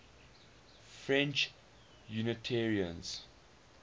french unitarians